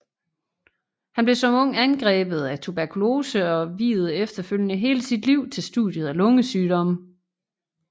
Han blev som ung angrebet af tuberkulose og viede efterfølgende hele sit liv til studiet af lungesygdomme